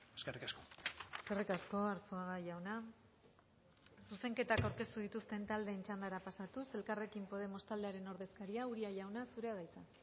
eskerrik asko eskerrik asko arzuaga jauna zuzenketak aurkeztu dituzten taldeen txandara pasatuz elkarrekin podemos taldearen ordezkaria uria jauna zurea da hitza